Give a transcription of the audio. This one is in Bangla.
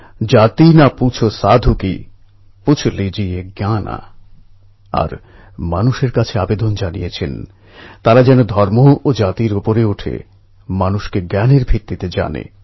এই অ্যাপ শুধু যে গ্রামের লোকেদের গোটা দুনিয়ার সঙ্গে সংযুক্ত করবে তাই নয় এখন তাঁরা যে কোনও তথ্য বা সংবাদ নিজেদের মোবাইলেই পেয়ে যাবেন